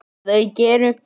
Að auki eru